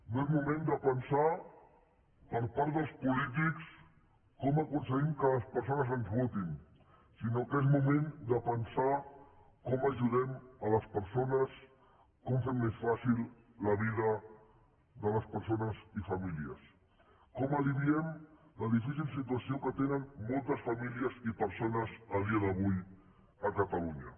no és moment de pensar per part dels polítics com aconseguim que les persones ens votin sinó que és moment de pensar com ajudem les persones com fem més fàcil la vida de les persones i famílies com alleugem la difícil situació que tenen moltes famílies i persones a dia d’avui a catalunya